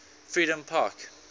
freedompark